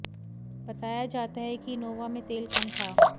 बताया जाता है कि इनोवा में तेल कम था